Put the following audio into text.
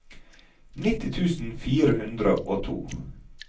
nitti tusen fire hundre og to